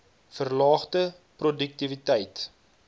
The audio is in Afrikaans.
verlaagde p roduktiwiteit